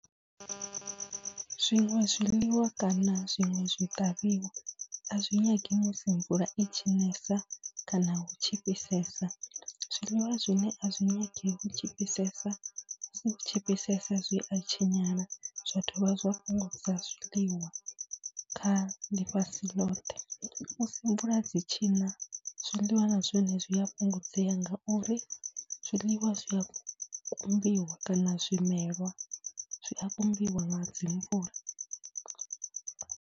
Zwiṅwe zwiḽiwa kana zwiṅwe zwiṱavhiwa a zwi nyangi musi mvula i tshi nesa kana hu tshi fhisesa, zwiḽiwa zwine a zwi nyangi hu tshi fhisesa, hu tshi fhisesa zwi a tshinyala, zwa dovha zwa fhungudza zwiḽiwa kha ḽifhasi ḽothe. Musi mvula dzi tshi na, zwiḽiwa na zwone zwi a fhungudzea ngauri zwiḽiwa zwi a kumbiwa kana zwimelwa zwi a kumbiwa nga dzi mvula.